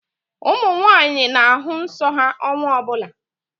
Ụmụ nwaanyị na-ahụ nsọ ha ọnwa ọbụla